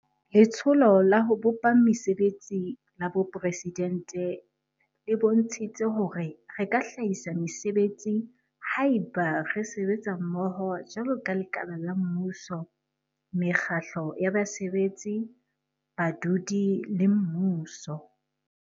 Letsholo la ho bopa Mese betsi la Boporesidente e bontshitse hore re ka hlahisa mesebetsi haeba re sebetsa mmoho jwaloka lekala la mmuso, mekgatlo ya basebetsi, badudi le mmuso.